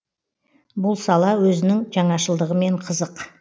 бұл сала өзінің жаңашылдығымен қызық